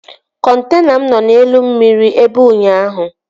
Kọntena m nọ n'elu mmiri ebe ụnyaahụ